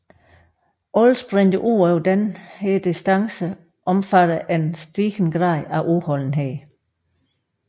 Alle sprinter udover denne distance omfatter en stigende grad af udholdenhed